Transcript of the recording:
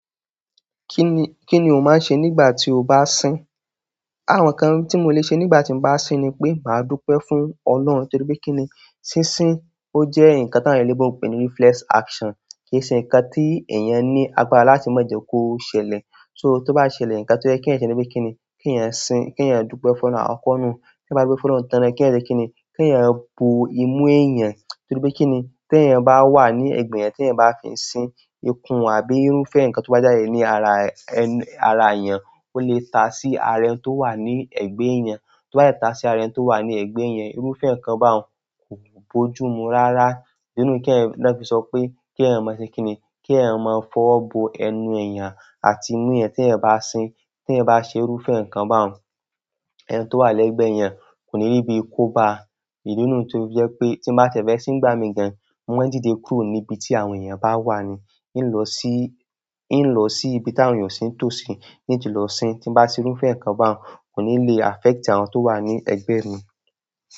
Kí ni, kí ni o máa ń ṣe nígbà tí o bá sín? Àwọn nǹkan tí mo lè ṣe nígbà tí mo bá sín ni pé màá dúpẹ́ fún Ọlọ́run. Nítorí pé kí ni, sísín ó jẹ́ nǹkan tí àwọn èléyinbo n pé ní reflex action. Kì í ṣe nǹkan tí èèyàn ní agbára láti mọ̀ọ́ jẹ kó ṣẹlẹ̀. So tó bá ṣẹlẹ̀ nǹkan tó jẹ́ kí èèyàn ni pé kí ni, kí èèyàn sín, kí èèyàn dúpẹ́ fún ọlọ́run akọkọ nu. Kí èèyàn bá dúpẹ́ fún Ọlọ́run tán ni kí ẹ jẹ kí ni, kí èèyàn bo imú èèyàn. Nítorí pé kí ni, tí èèyàn bá wà ní ẹ̀gbẹ́ ẹ̀, tí èèyàn bá fi ń sín ikùn àbí irúfẹ́ nǹkan tó bá jáde ní ara, ara èèyàn, ó lè ta sí àára ẹni tó wà ní ẹ̀gbẹ́ èèyàn. Tó bá dẹ̀ ta sí àára ẹni tó wà ní ẹ̀gbẹ́ èèyàn, irúfẹ́ nǹkan bá un kò bójú mu rárá. Nínú kí ẹ, lọ́ fi sọ pé kí èèyàn mọ̀ ẹ ṣe kí ni, kí èèyàn máa fọ̀ bo ẹnu èèyàn àti imú èèyàn tí èèyàn bá sín. Ti èèyàn ba ṣe irúfẹ́ nkan bá ùn ẹni tí o wà l'ẹgbẹ èèyàn kò ní ríbi kò bá ìdí nú tó fi jẹ́ pé tí mo bá tiẹ̀ fẹ́ sín ngbá mi gan, mo máa dìde kúrò ní ibi tí àwọn èèyàn bá wà ni. In lọ sí ìbi ti àwọn èèyàn o sì n tosí, in tí lọ sín. Tí mo bá ṣe irúfẹ́ nǹkan bá un, kò ní le affect àwọn tó wà ní ẹ̀gbẹ́ mi.